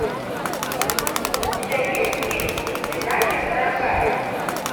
у тебя есть фильм до свидания дорогая